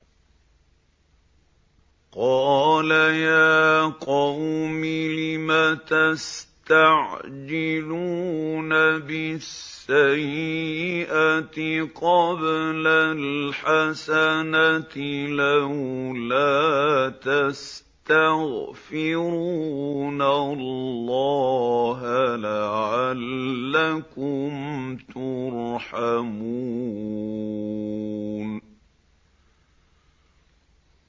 قَالَ يَا قَوْمِ لِمَ تَسْتَعْجِلُونَ بِالسَّيِّئَةِ قَبْلَ الْحَسَنَةِ ۖ لَوْلَا تَسْتَغْفِرُونَ اللَّهَ لَعَلَّكُمْ تُرْحَمُونَ